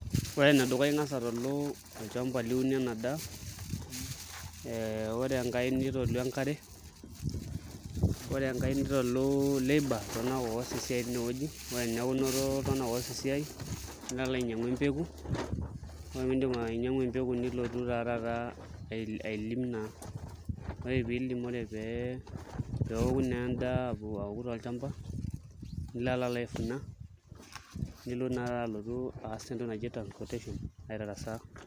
Ore enedukuya ing'as atalu olchamba liunie ena, daa eh ore enkae nitalu enkare ore enkae nitalu labour iltung'anak oos esiai tinewueji ore eniaku inoto iltung'anak oos esiai nilo alo ainyiang'u empeku ore pindip ainyiang'u empeku nilotu naa taata ailim naa ore piilim ore pee peoku naa endaa aoku tolchamba nilo alo aefuna nilo naa alotu aas entoki naji transportation aitarasaa.